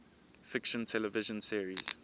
fiction television series